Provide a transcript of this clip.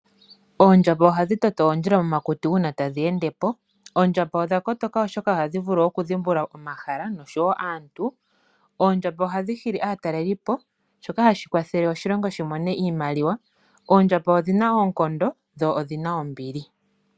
Oondjamba ohadhi toto oondjila momakuti una tadhi ende mo. Odha kotoka oshoka ohadhi vulu oku dhimbulula omahala nosho woo aantu. Ohadhi hili aatalelipo na ohashi kwathele oshilongo shi mone iimaliwa. Odhi na oonkondo dho odhi na ombili.